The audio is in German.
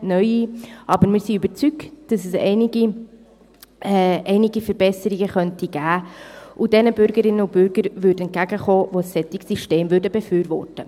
Aber wir sind davon überzeugt, dass es einige Verbesserungen geben könnte und denjenigen Bürgerinnen und Bürgern entgegenkäme, die ein solches System befürworten.